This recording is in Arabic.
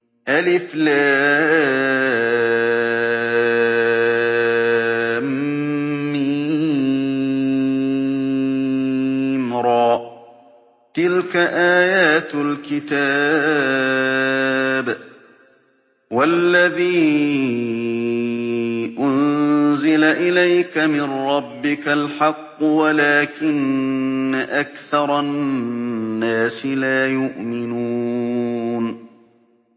المر ۚ تِلْكَ آيَاتُ الْكِتَابِ ۗ وَالَّذِي أُنزِلَ إِلَيْكَ مِن رَّبِّكَ الْحَقُّ وَلَٰكِنَّ أَكْثَرَ النَّاسِ لَا يُؤْمِنُونَ